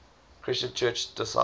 christian church disciples